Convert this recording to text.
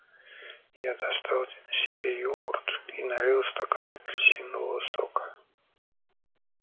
я достал себе йогурт и налил стакан апельсинового сока